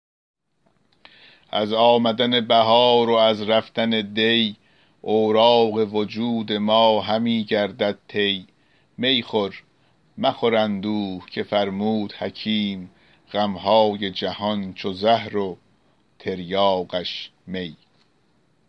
از آمدن بهار و از رفتن دی اوراق وجود ما همی گردد طی می خور مخور اندوه که فرمود حکیم غمهای جهان چو زهر و تریاقش می